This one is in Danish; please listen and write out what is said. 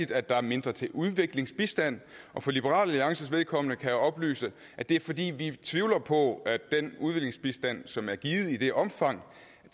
at der er mindre til udviklingsbistand og for liberal alliances vedkommende kan jeg oplyse at det er fordi vi tvivler på at den udviklingsbistand som er givet i det omfang